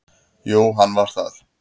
Jú, hann var það.